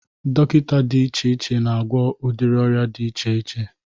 Dọkịta dị iche iche na-agwọ udiri ọrịa dị iche iche